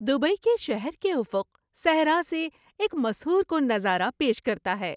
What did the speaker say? Dubai کے شہر کے افق صحراء سے ایک مسحور کن نظارہ پیش کرتا ہے۔